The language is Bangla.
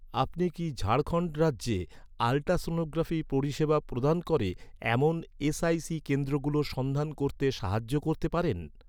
আপনি কি ঝাড়খণ্ড রাজ্যে, আল্ট্রাসনোগ্রাফি পরিষেবা প্রদান করে, এমন এস.আই.সি কেন্দ্রগুলোর সন্ধান করতে সাহায্য করতে পারেন?